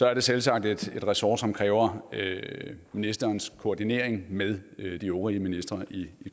er det selvsagt et ressort som kræver ministerens koordinering med de øvrige ministre i